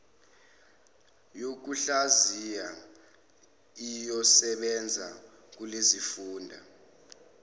yokuhlaziya iyosebenza kulezofunda